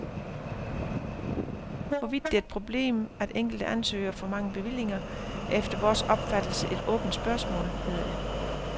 Hvorvidt det er et problem, at enkelte ansøgere får mange bevillinger, er efter vores opfattelse et åbent spørgsmål, hedder det.